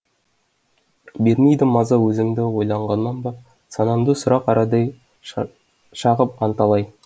бермейді маза өзіңді ойлағаннан ба санамды сұрақ арадай шағып анталай